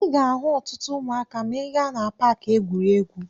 Ị ga-ahụ ọtụtụ ụmụaka ma ị gaa na paakị egwuregwu.